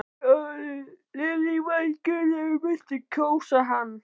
Lillý Valgerður: Muntu kjósa hann?